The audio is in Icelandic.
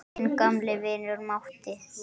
Þinn gamli vinur Matti.